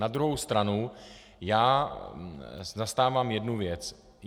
Na druhou stranu já zastávám jednu věc.